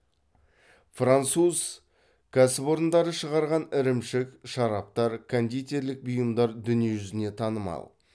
француз кәсіпорындары шығарған ірімшік шараптар кондитерлік бұйымдар дүние жүзіне танымал